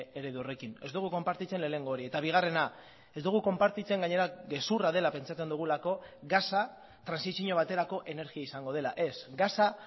eredu horrekin ez dugu konpartitzen lehenengo hori eta bigarrena ez dugu konpartitzen gainera gezurra dela pentsatzen dugulako gasa trantsizio baterako energia izango dela ez gasa